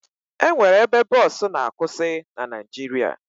E nwere ebe bọọsụ na-akwụsị na Naịjirịa